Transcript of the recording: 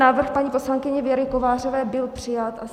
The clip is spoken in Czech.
Návrh paní poslankyně Věry Kovářové byl přijat.